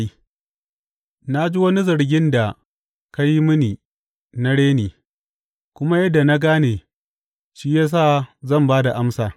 Na ji wani zargin da ka yi mini na reni, kuma yadda na gane, shi ya sa zan ba da amsa.